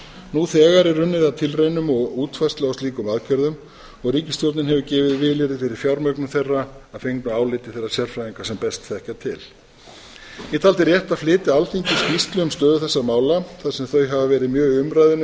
nú þegar er unnið að tilraunum og útfærslu á slíkum aðgerðum og ríkisstjórnin hefur gefið vilyrði fyrir fjármögnun þeirra að fengnu áliti þeirra sérfræðinga sem best þekkja til ég taldi rétt að flytja alþingi skýrslu um stöðu þessara mála þar sem þau hafa verið mjög í umræðunni